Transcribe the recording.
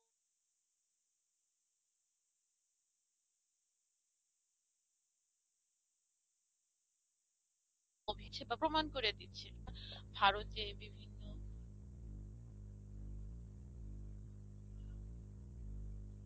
সেটা প্রমাণ করে দিচ্ছে ভারতে বিভিন্ন